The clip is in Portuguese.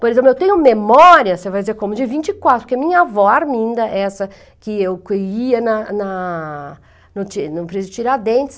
Por exemplo, eu tenho memória, você vai dizer, como de vinte e quatro, porque a minha avó, a Arminda, essa que eu ia na na no pre no prédio Tiradentes,